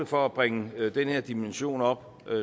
for at bringe den her dimension op